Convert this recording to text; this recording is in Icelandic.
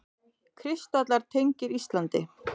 Kristallar tengdir Íslandi